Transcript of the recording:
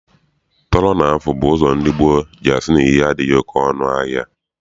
Tọrọ na afụ bụ ụzọ ndị gboo ji asị na ihe adịghị oke ọnụ ahịa.